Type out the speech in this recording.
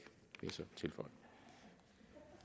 vil